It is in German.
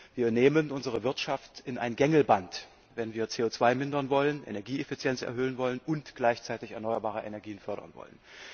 Wir nehmen unsere Wirtschaft an ein Gängelband, wenn wir CO 2 verringern wollen, Energieeffizienz erhöhen wollen und gleichzeitig erneuerbare Energien fördern wollen.